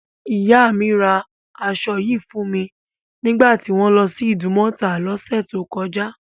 Ìyá mi ra aṣọ yìí fún mi nígbà tí wọ́n lọ sí Ìdúmọ̀tà lọ́sẹ̀ tó kọjá.